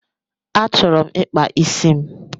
Achọrọ m ịkpa isi m